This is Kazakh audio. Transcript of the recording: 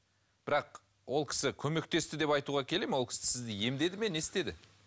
бірақ ол кісі көмектесті деп айтуға келе ме ол кісі сізді емдеді ме не істеді